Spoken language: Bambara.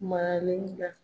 Maralen ga